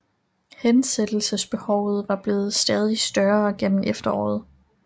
Hensættelsesbehovet var blevet stadig større gennem efteråret